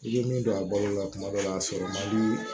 I bɛ min don a balo la kuma dɔ la a sɔrɔ man di